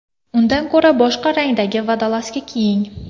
Undan ko‘ra boshqa rangdagi vodolazka kiying.